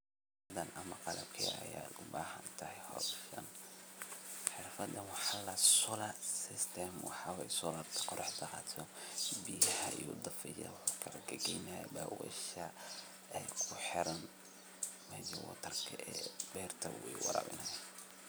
Xirfadan waxa ladaha solar system oo waxa waye solarka qoraxda aya biayaha dafaya mark wuxu kahorgeynaya daweesha ee kuxiran meesha berta eeh ayu warawinaya.